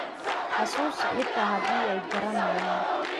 Xusuusi xitaa haddii ay garanayaan